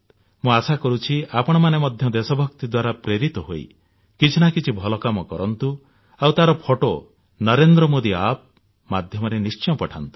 ମୁଁ ଆଶା କରୁଛି ଆପଣମାନେ ମଧ୍ୟ ଦେଶଭକ୍ତି ଦ୍ୱାରା ପ୍ରେରିତ ହୋଇ କିଛି ନା କିଛି ଭଲ କାମ କରନ୍ତୁ ଆଉ ତାର ଫଟୋ ନରେନ୍ଦ୍ର ମୋଦୀ ଆପ୍ ମାଧ୍ୟମରେ ନିଶ୍ଚୟ ପଠାନ୍ତୁ